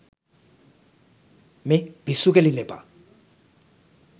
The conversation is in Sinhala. මේ පිස්සු කෙලින්න එපා